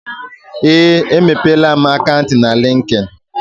Ee, emepeela m akant na likin.